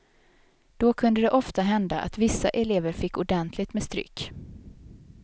Då kunde det ofta hända att vissa elever fick ordentligt med stryk.